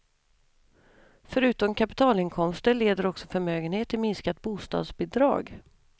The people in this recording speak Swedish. Förutom kapitalinkomster leder också förmögenhet till minskat bostadsbidrag.